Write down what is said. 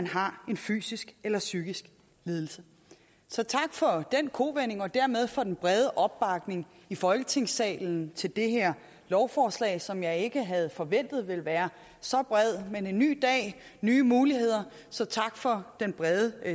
har en fysisk eller psykisk lidelse så tak for den kovending og dermed for den brede opbakning i folketingssalen til det her lovforslag en opbakning som jeg ikke havde forventet ville være så bred men en ny dag nye muligheder så tak for den brede